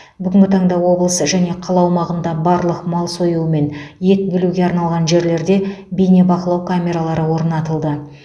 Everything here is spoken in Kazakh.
бүгінгі таңда облыс және қала аумағында барлық мал сою мен ет бөлуге арналған жерлерде бейнебақылау камералары орнатылды